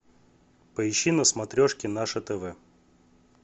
поищи на смотрешке наше тв